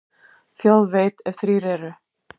Þjóð veit, ef þrír eru.